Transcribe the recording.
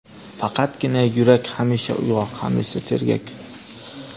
Faqatgina yurak hamisha uyg‘oq, hamisha sergak.